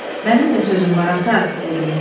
Mənim də sözüm var ata, dedi.